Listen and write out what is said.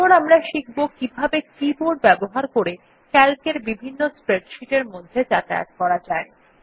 এরপর আমরা শিখব কিভাবে কিবোর্ড ব্যবহার করে ক্যালক এর বিভিন্ন স্প্রেডশিট এর মধ্যে যাতায়াত করা যায়